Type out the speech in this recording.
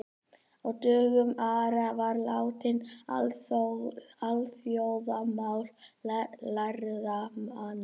Á dögum Ara var latína alþjóðamál lærðra manna.